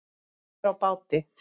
Sér á báti.